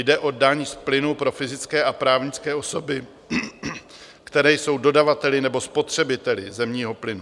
Jde o daň z plynu pro fyzické a právnické osoby, které jsou dodavateli nebo spotřebiteli zemního plynu.